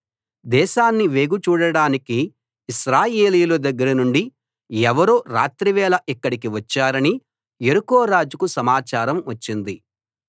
దేశాన్ని వేగుచూడటానికి ఇశ్రాయేలీయుల దగ్గర నుండి ఎవరో రాత్రివేళ ఇక్కడికి వచ్చారని యెరికో రాజుకు సమాచారం వచ్చింది